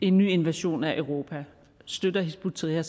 en ny invasion af europa støtter hizb ut tahrir